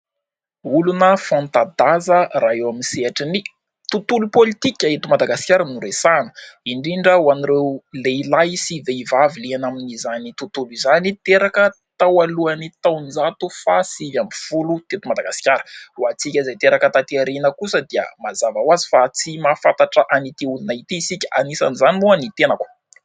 Olona fanta-daza raha eo amin'ny sehatry ny tontolo politika eto Madagasikara no resahana, indrindra ho an'ireo lehilahy sy vehivavy liana amin'izany tontolo izany, teraka tao alohan'ny taonjato faha sivy ambin'ny folo teto Madagasikara. Ho antsika izay teraka taty aoriana kosa dia mazava ho azy fa tsy mahafantatra an'ity olona ity isika anisan' izany moa ny tenako.